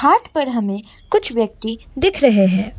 घाट पर हमें कुछ व्यक्ति दिख रहे हैं।